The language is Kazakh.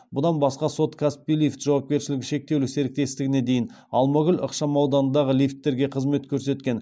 бұдан басқа сот каспий лифт жауапкершілігі шектеулі серіктестігіне дейін алмагүл ықшамауданындағы лифтілерге қызмет көрсеткен